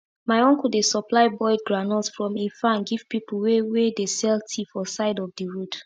my uncle dey supply boiled groundnut from e farm give pipu wey wey dey sell tea for side of d road